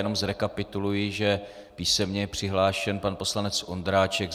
Jenom zrekapituluji, že písemně je přihlášen pan poslanec Ondráček.